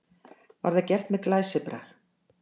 Var það gert með glæsibrag.